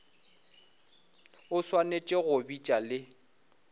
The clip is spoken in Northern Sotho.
o swanetše go bitša le